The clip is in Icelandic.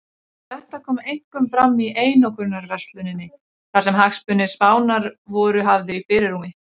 Þetta kom einkum fram í einokunarversluninni þar sem hagsmunir Spánar voru hafði í fyrirrúmi.